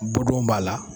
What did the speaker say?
Bɔdon b'a la